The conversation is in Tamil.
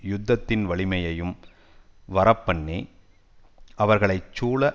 யுத்தத்தின் வலிமையையும் வரப்பண்ணி அவர்களைச்சூழ